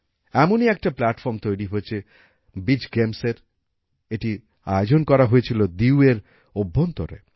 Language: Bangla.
এমনই একটা প্ল্যাটফর্ম তৈরি হয়েছেবিচ gamesএর এটির আয়োজন করা হয়েছিল দিউএর অভ্যন্তরে